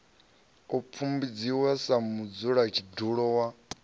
u pfumbudziwa sa mudzulatshidulo wa